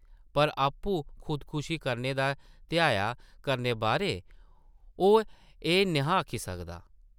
पर आपूं खुदकशी करने दा धैया करने बारै ओह् एह् न’हा आखी सकदा ।